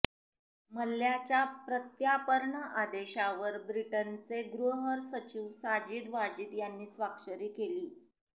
मल्ल्याच्या प्रत्यार्पण आदेशावर ब्रिटनचे गृह सचिव साजीद वाजीद यांनी स्वाक्षरी केली